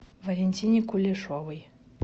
валентине кулешовой